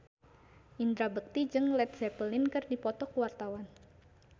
Indra Bekti jeung Led Zeppelin keur dipoto ku wartawan